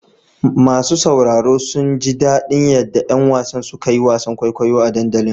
Masu sauraro sun ji daɗin yadda ƴan wasan suka yi wasan kwaikwayo a dandalin.